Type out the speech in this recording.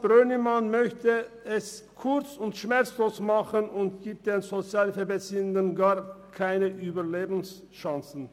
Brönnimann möchte es kurz und schmerzlos machen und gibt den Sozialhilfebeziehenden gar keine Überlebenschancen.